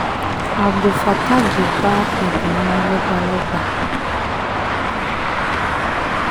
abdulfattaq bá ìgbìmọ̀ lọ́balọ́ba